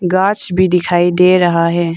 गांछ भी दिखाई दे रहा है।